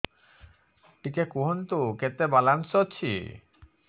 ଟିକେ କୁହନ୍ତୁ କେତେ ବାଲାନ୍ସ ଅଛି